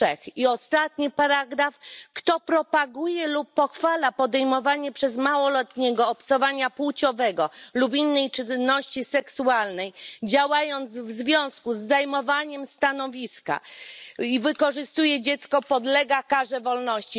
3. I ostatni paragraf Kto propaguje lub pochwala podejmowanie przez małoletniego obcowania płciowego lub innej czynności seksualnej, działając w związku z zajmowaniem stanowiska, i wykorzystuje dziecko, podlega karze pozbawienia wolności.